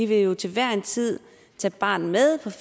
vil jo til hver en tid tage barnet med